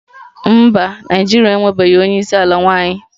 Mba, Naịjirịa enwebeghị onye isi ala nwanyị